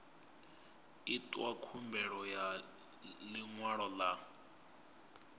itwa khumbelo ya ḽiṅwalo ḽa